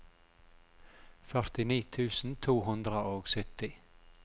førtini tusen to hundre og sytti